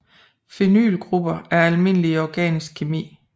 Phenylgrupper er almindelige i organisk kemi